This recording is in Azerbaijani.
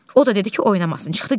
O da dedi ki, oynamasın, çıxdı getdi.